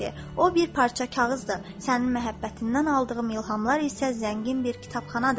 O bir parça kağızdır, sənin məhəbbətindən aldığım ilhamlar isə zəngin bir kitabxanadır.